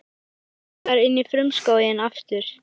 Hann arkar inn í frumskóginn aftur.